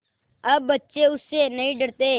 अब बच्चे उससे नहीं डरते